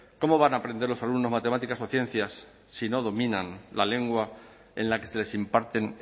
cómo van a aprender los alumnos matemáticas o ciencias si no dominan la lengua en la que se les imparten